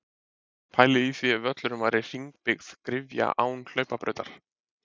Pælið í því ef völlurinn væri hringbyggð gryfja án hlaupabrautar?